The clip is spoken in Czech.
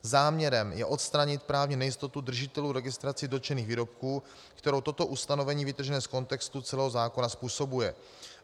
Záměrem je odstranit právní nejistotu držitelů registrací dotčených výrobků, kterou toto ustanovení vytržené z kontextu celého zákona způsobuje.